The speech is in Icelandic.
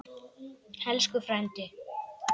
Elsku frændi.